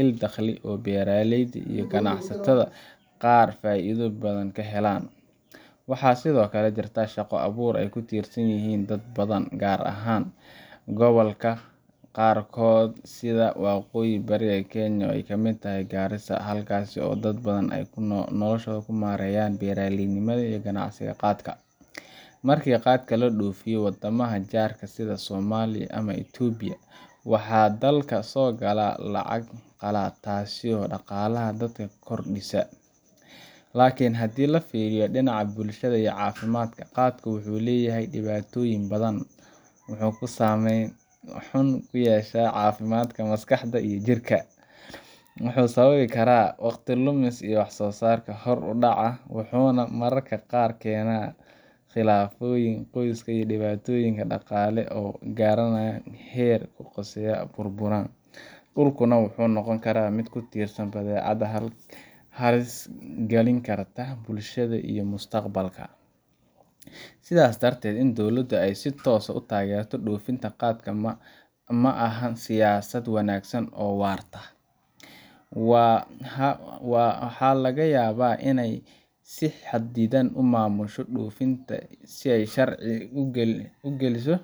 il dakhli oo beeraleyda iyo ganacsatada qaar faa’iido badan ka helaan. Waxaa sidoo kale jirta shaqo abuur ay ku tiirsan yihiin dad badan, gaar ahaan gobollada qaarkood sida waqooyi bari Kenya oo ay ka mid tahay Garissa, halkaas oo dad badan ay noloshooda ka maareeyaan beeraleynimada iyo ganacsiga qaadka. Markii qaadka loo dhoofiyo waddamada jaarka ah sida Soomaaliya ama Itoobiya, waxaa dalka soo gala lacag qalaad, taas oo dhaqaalaha dalka ku kordhisa. Laakiin haddii laga fiiriyo dhinaca bulshada iyo caafimaadka, qaadka wuxuu leeyahay dhibaatooyin badan. Wuxuu saameyn xun ku yeeshaa caafimaadka maskaxda iyo jirka, wuxuu sababi karaa waqti lumis iyo wax-soo-saar hoos u dhaca, wuxuuna mararka qaar keenaa khilaafaadyo qoys iyo dhibaatooyin dhaqaale oo gaaraya heer qoysas burburaan. Dalkuna wuxuu noqonayaa mid ku tiirsan badeecad halis galin karta bulshada iyo mustaqbalka Sidaas darteed, in dowladda ay si toos ah u taageerto dhoofinta qaadka ma aha siyaasad wanaagsan oo waarta. Haa, waxaa laga yaabaa inay si xadidan u maamusho dhoofintiisa si ay sharciyad ugeliso